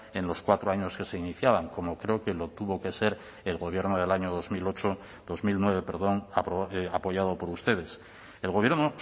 en los cuatro años que se iniciaban como creo que lo tuvo que ser el gobierno del año dos mil ocho dos mil nueve perdón apoyado por ustedes el gobierno